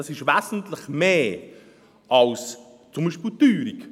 Dies ist wesentlich mehr als zum Beispiel die Teuerung.